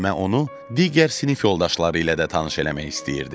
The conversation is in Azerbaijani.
Müəllimə onu digər sinif yoldaşları ilə də tanış eləmək istəyirdi.